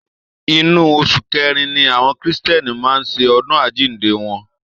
Inú oṣù kẹrin ni àwọn kristiẹni máa ń ṣe ọdún àjíǹde wọn